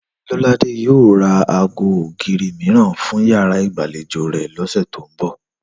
Lọ́ládé yóò ra aago ògiri mìíràn fún yàrá ìgbàlejò rẹ̀ lọ́sẹ̀ tó ń bọ̀